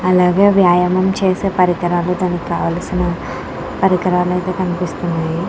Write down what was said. అలాగే వ్యాయామం చేసే పరికరాలు దానికి కావాల్సిన పరికరాలు ఆయితే కనిపిస్తున్నయి.